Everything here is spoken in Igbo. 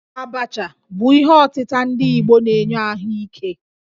Abacha bụ ihe ọtịta ndi Igbo na-enye ahụ ike